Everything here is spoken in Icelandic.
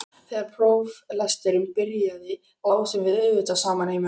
Þegar próflesturinn byrjaði lásum við auðvitað saman heima hjá mér.